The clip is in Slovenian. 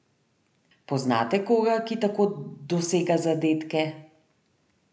Poznate koga, ki tako dosega zadetke?